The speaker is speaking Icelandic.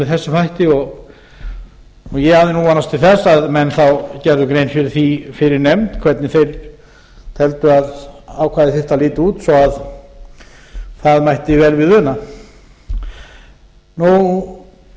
þessum hætti ég hafði nú vonast til þess að menn þá gerðu grein fyrir því fyrir nefnd hvernig þeir teldu að ákvæðið þyrfti að líta út svo að það mætti vel við una